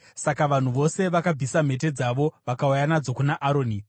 Saka vanhu vose vakabvisa mhete dzavo vakauya nadzo kuna Aroni.